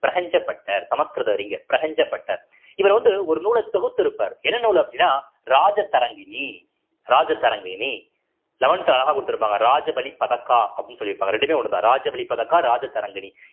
Butter சமஸ்கிருத அறிஞர் பட்டர் இவர் வந்து ஒரு நூலை தொகுத்திருப்பார் என்ன நூல் அப்படின்னா ராஜதரங்கினி ராஜதரங்கிணி அழகா கொடுத்திருப்பாங்க ராஜபலி பதக்கா அப்படின்னு சொல்லியிருப்பாங்க. ரெண்டுமே ஒண்ணுதான் ராஜ வழி பதக்கா ராஜதரங்கிணி